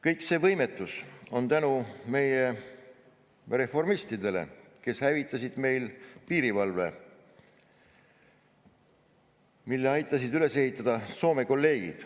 Kogu see võimetus on tänu meie reformistidele, kes hävitasid meil piirivalve, mille aitasid üles ehitada Soome kolleegid.